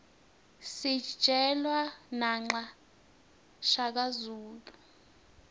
sijelwa naqa shaka zulu